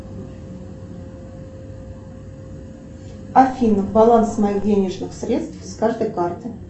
афина баланс моих денежных средств с каждой карты